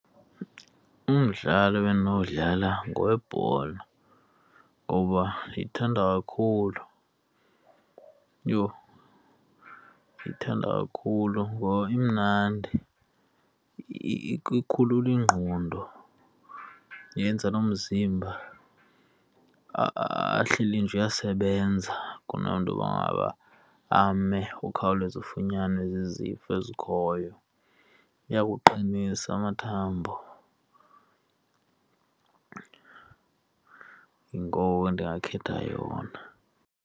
Umdlalo ebendinowudlala ngowebhola ngoba ndiyithanda kakhulu. Yho! Ndiyithanda kakhulu ngoba imnandi, ikhulula ingqondo, yenza nomzimba ahleli nje uyasebenza kunento yokuba ngaba ame ukhawuleze ufunyanwe zizifo ezi zikhoyo. Iyawaqinisa amathambo, yingoko ndingakhetha yona.